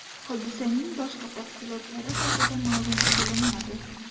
Hodisaning boshqa tafsilotlari haqida ma’lum qilinmadi.